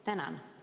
Tänan!